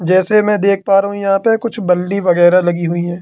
जैसे मैं देख पा रहा हूं यहां पे कुछ बल्ली वगैरा लगी हुई है।